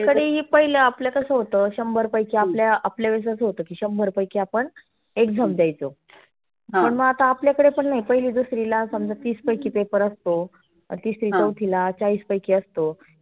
पहिलं आपल कसं होत, शंभर पैकी आपल्या आपल्या वेळेस आसं होत की शंभर पैकी आपण exam द्यायचो. पण आता आपल्याकडे पण नाही पहिली दुसरीला समजा तीस पैकी paper असतो. तीसरी चौथीला चाळीस पैकी असतो.